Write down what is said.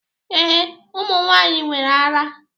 Ee, ụmụ nwanyị nwere ara.